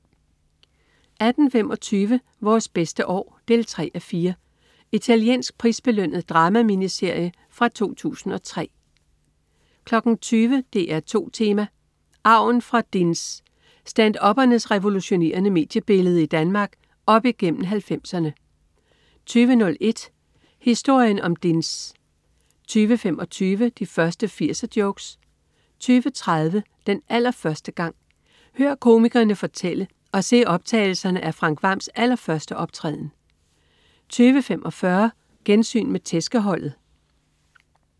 18.25 Vores bedste år 3:4. Italiensk prisbelønnet drama-miniserie fra 2003 20.00 DR2 Tema: Arven fra DINS. Stand-upperne revolutionerede mediebilledet i Danmark op igennem 90'erne 20.01 Historien om DINS 20.25 De første 80'er-jokes 20.30 Den allerførste gang. Hør komikerne fortælle, og se optagelser af Frank Hvams allerførste optræden 20.45 Gensyn med "Tæskeholdet"